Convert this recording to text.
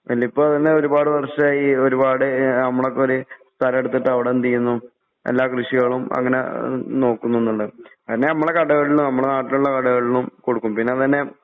വല്യുപ്പ പിന്നെ ഒരുപാട് വർഷമായി ഒരുപാട് നമ്മളെപ്പോലെ സ്ഥലം എടുത്തിട്ട് അവിടെന്തു ചെയ്യുന്നു എല്ലാ കൃഷികളും അങ്ങനെ ഏഹ് നോക്കുന്നുണ്ട്. പിന്നെ നമ്മുടെ കടകളിലും നമ്മുടെ നാട്ടിലുള്ള കടകളിലും കൊടുക്കും പിന്നെ അത് തന്നെ